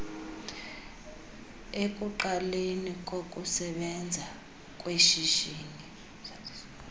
ekuqaleni kokusebenza kweshishini